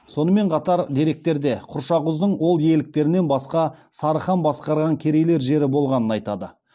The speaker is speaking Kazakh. сонымен қатар деректерде құршақұздың ол иеліктерінен басқа сары хан басқарған керейлер жері болғаны айтады